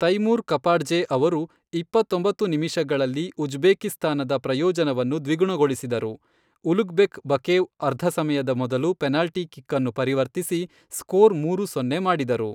Taimur Kapadze ಅವರು ಇಪ್ಪತ್ತೊಂಬತ್ತು ನಿಮಿಷಗಳಲ್ಲಿ ಉಜ್ಬೇಕಿಸ್ತಾನದ ಪ್ರಯೋಜನವನ್ನು ದ್ವಿಗುಣಗೊಳಿಸಿದರು, ಉಲುಗ್ಬೆಕ್ ಬಕೇವ್ ಅರ್ಧ ಸಮಯದ ಮೊದಲು ಪೆನಾಲ್ಟಿ ಕಿಕ್ ಅನ್ನು ಪರಿವರ್ತಿಸಿ ಸ್ಕೋರ್ ಮೂರು ಸೊನ್ನೆ ಮಾಡಿದರು.